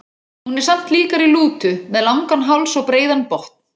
Hún er samt líkari lútu, með langan háls og breiðan botn.